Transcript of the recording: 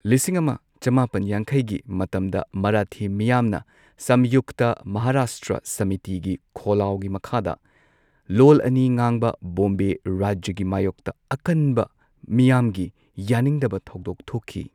ꯂꯤꯁꯤꯡ ꯑꯃ ꯆꯃꯥꯄꯟ ꯌꯥꯡꯈꯩꯒꯤ ꯃꯇꯝꯗ ꯃꯥꯔꯥꯊꯤ ꯃꯤꯌꯥꯝꯅ ꯁꯝꯌꯨꯛꯇ ꯃꯍꯔꯥꯁꯇ꯭ꯔ ꯁꯃꯤꯇꯤꯒꯤ ꯈꯣꯜꯂꯥꯎꯒꯤ ꯃꯈꯥꯗ ꯂꯣꯜ ꯑꯅꯤ ꯉꯥꯡꯕ ꯕꯣꯝꯕꯦ ꯔꯥꯖ꯭ꯌꯒꯤ ꯃꯌꯣꯛꯇ ꯑꯀꯟꯕ ꯃꯤꯌꯥꯝꯒꯤ ꯌꯥꯅꯤꯡꯗꯕ ꯊꯧꯗꯣꯛ ꯊꯣꯛꯈꯤ꯫